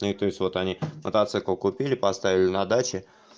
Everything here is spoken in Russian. ну то есть вот они мотоцикл купили поставили на даче